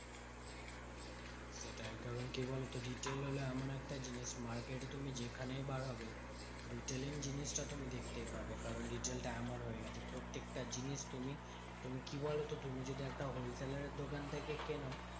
সেটাই, কারণ কি বলতো? retail হলো এমন একটা জিনিস, market এ তুমি যেখানেই বার হবে retailing জিনিসটা তুমি দেখতেই পাবে। কারণ retail টা এমন হয়ে গেছে। প্রত্যেকটা জিনিস তুমি, তুমি কি বলতো? তুমি যদি একটা wholesaler এর দোকান থেকে কেনো